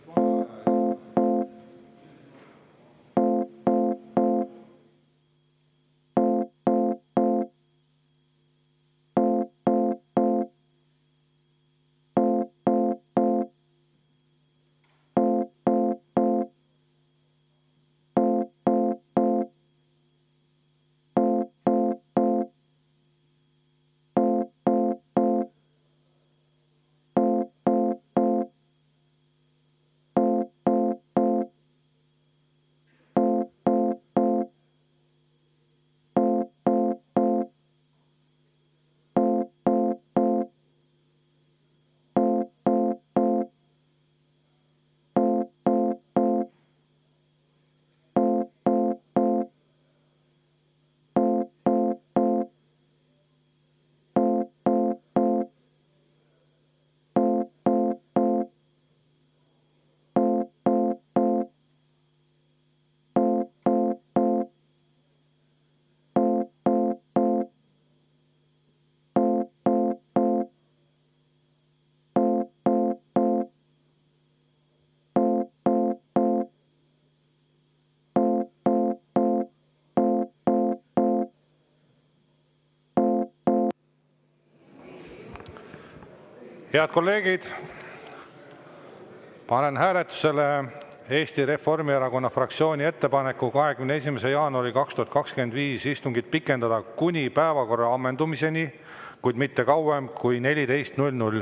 Head kolleegid, panen hääletusele Eesti Reformierakonna fraktsiooni ettepaneku 21. jaanuari 2025. aasta istungit pikendada kuni päevakorra ammendumiseni, kuid mitte kauem kui kella 14‑ni.